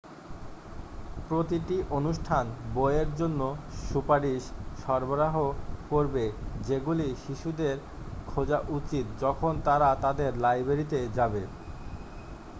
প্রতিটি অনুষ্ঠান বইয়ের জন্য সুপারিশ সরবরাহও করবে যেগুলি শিশুদের খোঁজা উচিত যখন তারা তাদের লাইব্রেরিতে যাবে